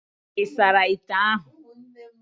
Ị sara ite ahụ?